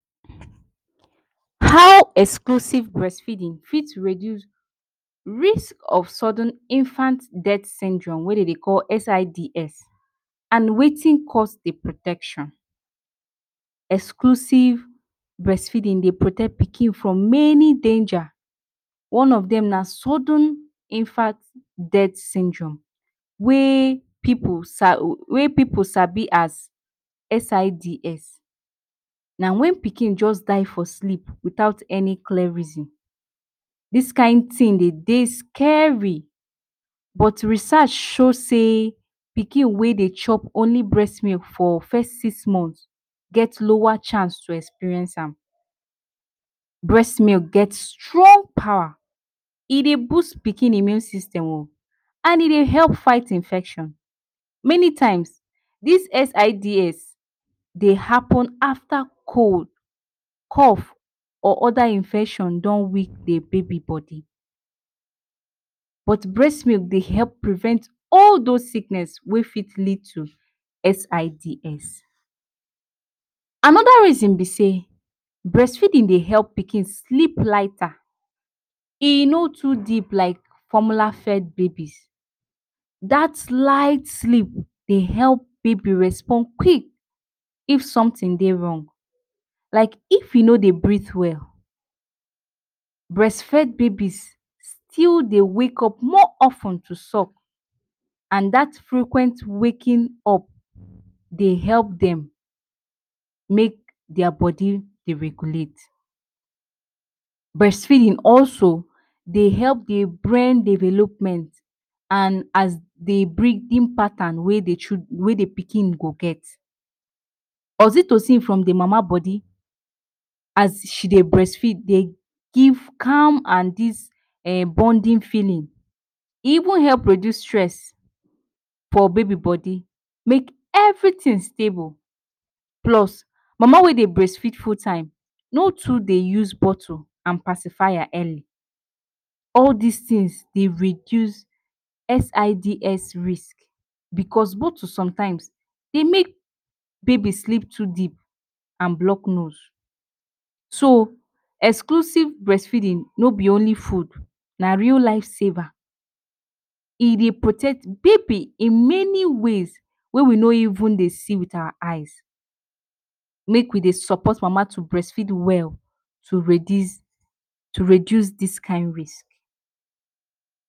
How exclusive breastfeeding fit reduce risk of sudden infant death syndrome wey dem dey call SIDS and wetin cause the protection? Exclusive breastfeeding dey protect pikin from many danger, one of them na sudden infant death syndrome wey pipu sa wey pipul sabi as SIDS. Na when pikin just die for sleep without any clear reason. Dis kind thing de dey very scary but research show say pikin wey chop only breastmilk for first six months get lower chance to experience am, breastmilk get strong power, e dey boost pikin immune system o, and e dey help fight infection, many times dis SIDS dey happen after cold, cough or other infection don weak de baby body. But breastmilk dey help prevent all those sickness wey fit lead to SIDS. Another reason be sey, breastfeeding dey help pikin sleep lighter, e no too deep like formula fed babies. Dat light sleep dey help baby respond quick if something dey wrong like if e no dey breath well, breastfed babies still dey wake up more of ten suck and dat frequent waking up dey help dem make their body dey regulate. Breastfeeding also dey help the brain development and as the breathing pattern wey the pikin go get. Oxytocin from the mama body as she dey breastfeed dey give calm and dis bonding feeling, e even help reduce stress for baby body make everything stable, plus mama wey dey breastfeed full-time, no too dey use bottle and pacifier early all these things dey reduce SIDS risk. Because bottle sometimes dey make baby sleep too deep and block nose. So exclusive breastfeeding no be only food na real life saver, e dey protect baby in many ways wey we no even dey see with our eyes. Make we dey support mama to breastfeed well to redice to reduce this kind risk.